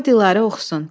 Qoy Dilara oxusun.